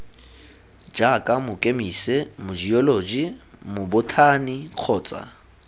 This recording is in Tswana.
jaaka mokemise mojeoloji mobothani kgotsa